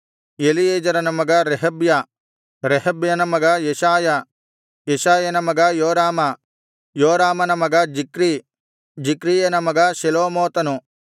ಎಲೀಯೆಜೆರನ ಮಗ ರೆಹಬ್ಯ ರೆಹಬ್ಯನ ಮಗ ಯೆಶಾಯ ಯೆಶಾಯನ ಮಗ ಯೋರಾಮ ಯೋರಾಮನ ಮಗ ಜಿಕ್ರೀ ಜಿಕ್ರೀಯನ ಮಗ ಶೆಲೋಮೋತನು